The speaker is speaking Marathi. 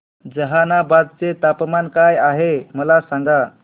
जहानाबाद चे तापमान काय आहे मला सांगा